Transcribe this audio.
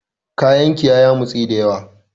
Kayan ki ya yamutse dayawa.